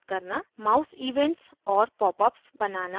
mouseevents और popups बनाना